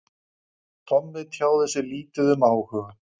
Tommi tjáði sig lítið um áhuga